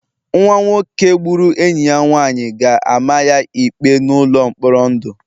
Nwa nwoke nke gburu enyi ya nwanyị ga-ama ya ikpe n'ụlọ mkpọrọ ndụ